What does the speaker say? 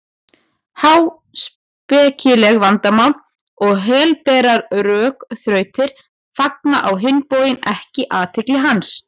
Háspekileg vandamál og helberar rökþrautir fanga á hinn bóginn ekki athygli hans.